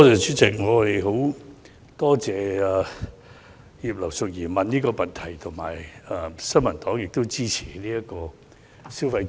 主席，我們十分感謝葉劉淑儀議員提出這項質詢，新民黨亦十分支持發放消費券。